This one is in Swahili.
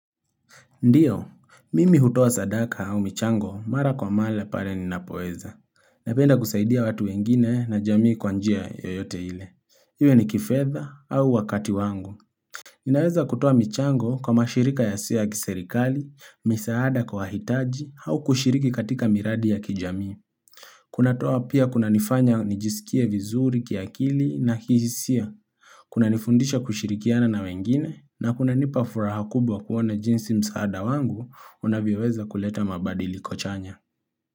Ndiyo, mimi hutua sadaka au michango mara kwa male pale ninapoeza. Napenda kusaidia watu wengine na jamii kwanjia yoyote hile. Iwe ni kifedha au wakati wangu. Ninaweza kutua michango kwa mashirika yasiyo kiserikali, misaada kwa hitaji au kushiriki katika miradi ya kijamii. Kuna toa pia kuna nifanya nijisikie vizuri kiakili na kihisia. Kuna nifundisha kushirikiana na wengine na kuna nipafuraha kubwa kuwona jinsi msaada wangu unavyoaweza kuleta mabadiliko chanya.